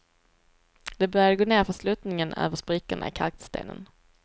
De började gå nerför sluttningen, över sprickorna i kalkstenen.